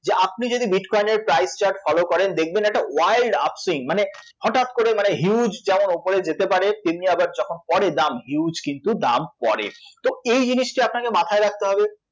যে আপনি যদি bitcoin এর price chart follow করেন দেখবেন একটা wild upsing মানে হঠাৎ করে মানে huge যেমন উপরে যেতে পারে তেমনই আবার যখন পড়ে দাম huge কিন্তু দাম পড়ে, তো এই জিনিসটা আপনাকে মাথায় রাখতে হবে